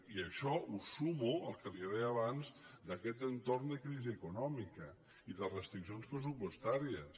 i això ho sumo al que li deia abans d’aquest entorn de crisi econòmica i de restric·cions pressupostàries